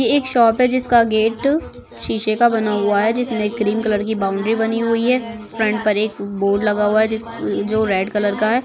ये एक शॉप है जिसका गेट शीशे का बना हुआ है जिसमे क्रीम कलर की बाउंड्री बनी हुई है फ्रंट पर एक बोर्ड लगा हुआ है जो रेड कलर का है।